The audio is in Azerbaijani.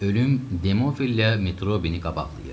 Ölüm Demofillə Metrobini qabaqlayır.